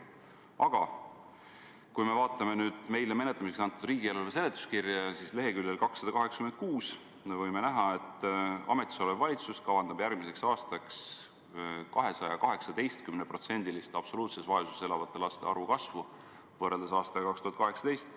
Aga kui me vaatame nüüd meile menetlemiseks antud riigieelarve seletuskirja, siis leheküljel 286 me võime näha, et ametis olev valitsus kavandab järgmiseks aastaks 218%-list absoluutses vaesuses elavate laste arvu kasvu võrreldes aastaga 2018.